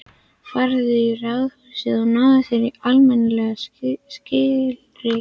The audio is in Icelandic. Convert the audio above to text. Farðu í ráðhúsið og náðu þér í almennileg skilríki.